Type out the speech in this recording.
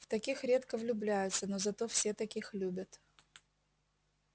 в таких редко влюбляются но зато все таких любят